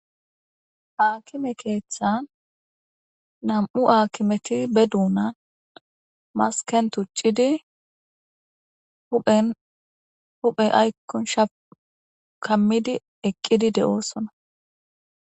aakime keeththan nam7u aakimeti be duuna masken tuccidi huphen huphey aykkon sha kammidi eqqidi de7oosona